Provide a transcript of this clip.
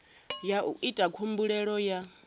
ya u ita khumbelo ya